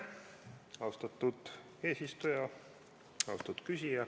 Austatud küsija!